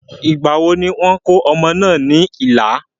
Ìgbàwo ni wọ́n kò ọmọ náà ní ìlà?